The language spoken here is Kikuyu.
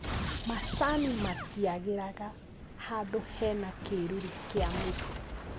Macani matiagĩraga handũ hena kĩruru kĩa mĩtĩ